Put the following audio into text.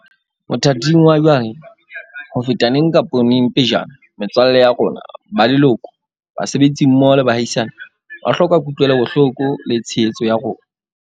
Mothating wa jwale, ho feta neng kapa neng pejana, metswalle ya rona, ba leloko, basebetsi mmoho le baahisane, ba hloka kutlwelo bohloko le tshehetso ya rona.